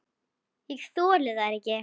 Ég þoli þær ekki.